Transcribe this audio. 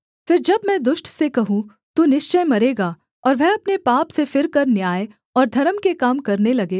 फिर जब मैं दुष्ट से कहूँ तू निश्चय मरेगा और वह अपने पाप से फिरकर न्याय और धर्म के काम करने लगे